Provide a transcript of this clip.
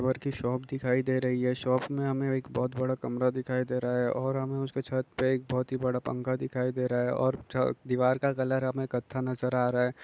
की शोप दिखाई दे रहा है शॉप में हमें एक बहुत बड़ा कमरा दिखाई दे रही है और हमें उसके छत पे एक बहुत ही बड़ा पंखा दिखाई दे रहा हैं और दीवार का कलर हमें कथा नजर आ रही हैं।